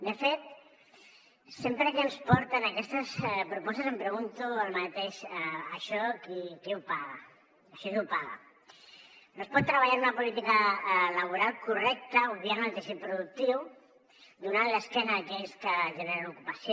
de fet sempre que ens porten aquestes propostes em pregunto el mateix això qui ho paga això qui ho paga no es pot treballar en una política laboral correcta obviant el teixit productiu donant l’esquena a aquells que generen ocupació